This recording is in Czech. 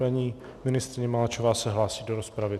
Paní ministryně Maláčová se hlásí do rozpravy.